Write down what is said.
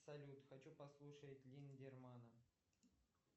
салют хочу послушать линдермана